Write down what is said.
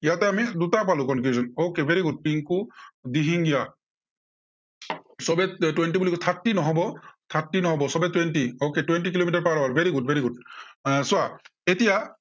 ইয়াতে আমি দুটা পালো conclusion, okay very good Pinku Dihingia সৱেই twenty বুলি thirty নহব, thirty নহব, সৱেই twenty, okay, twenty kilometre per hour, good very good এৰ চোৱা এতিয়া ইয়াতে আমি